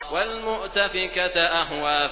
وَالْمُؤْتَفِكَةَ أَهْوَىٰ